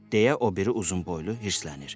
Deyə o biri uzunboylu hirslənir.